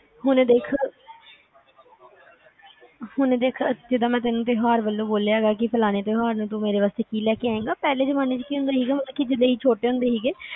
ਹੁਣ ਦੇਖ ਹੁਣ ਦੇਖ ਜਿਦਾ ਮੈਨੂੰ ਤਿਓਹਾਰ ਵਲੋਂ ਬੋਲਿਆ ਹੇਗਾ ਕਿ ਫਲਾਣੇ ਤਿਓਹਾਰ ਤੂੰ ਮੇਰੇ ਵਾਸਤੇ ਕਿ ਲੈ ਆਏਗਾ, ਪਹਿਲੇ ਜਮਾਨੇ ਚ ਕਿ ਹੁੰਦਾ ਸੀਗਾ ਜਿਦਾ ਅਸੀਂ ਛੋਟੇ ਹੁੰਦੇ ਸੀਗੇ